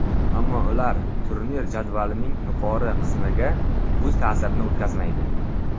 Ammo ular turnir jadvalining yuqori qismiga o‘z ta’sirini o‘tkazmaydi.